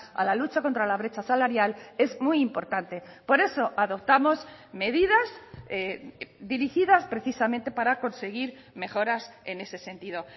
a la lucha contra la brecha salarial es muy importante por eso adoptamos medidas dirigidas precisamente para conseguir mejoras en ese sentido